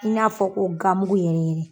I n'a fɔ ko ganmugu in.